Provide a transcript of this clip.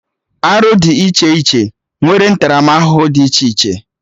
Arụ dị iche iche nwere ntaramahụhụ dị iche iche